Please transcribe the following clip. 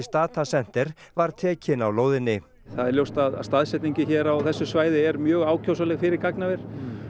Data Center var tekin á lóðinni það er ljóst að staðsetningin hér á þessu svæði er mjög ákjósanleg fyrir gagnaver